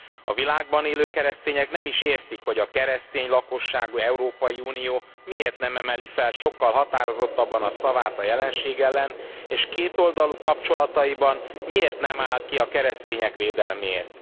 A világban élő keresztények nem is értik, hogy a keresztény lakosságú Európai Unió miért nem emeli fel sokkal határozottabban a szavát a jelenség ellen, és kétoldalú kapcsolataiban miért nem áll ki a keresztények védelméért.